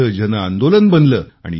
त्याचे जनआंदोलन बनले